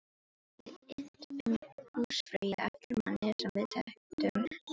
Ég hafði innt húsfreyju eftir manni sem við þekktum bæði.